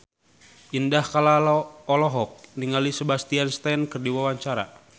Indah Kalalo olohok ningali Sebastian Stan keur diwawancara